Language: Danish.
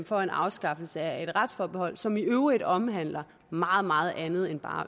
for en afskaffelse af et retsforbehold som i øvrigt omhandler meget meget andet end bare